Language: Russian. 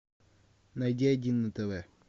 найди один на тв